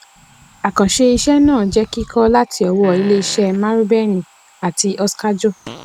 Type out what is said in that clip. àkànṣe iṣẹ náà jẹ kikọ láti ọwọ ilé iṣé marubeni àti oskajo